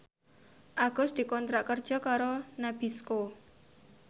Agus dikontrak kerja karo Nabisco